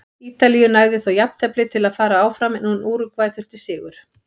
Ítalíu nægði þó jafntefli til að fara áfram en Úrúgvæ þurfti sigur.